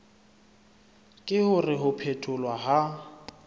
ke hore ho phetholwa ha